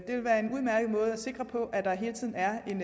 sikre på at der hele tiden er en